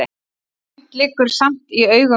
Sumt liggur samt í augum uppi.